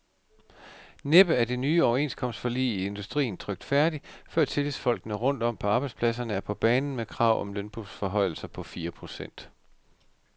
Næppe er det nye overenskomstforlig i industrien trykt færdig, før tillidsfolkene rundt om på arbejdspladserne er på banen med krav om lønforhøjelser på fire procent.